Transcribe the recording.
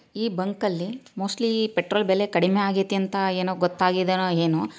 ಬಂಕಲ್ಲಿ mostly petrol ಬೆಲೆ ಕಡಿಮೆ ಆಗೈತೆ ಅಂತ ಏನೋ ಗೊತ್ತಾಗಿದೆನೋ ಏನೋ --